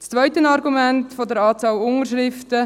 Zum zweiten Argument betreffend die Anzahl Unterschriften: